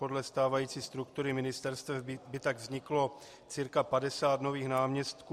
Podle stávající struktury ministerstev by tak vzniklo cca 50 nových náměstků.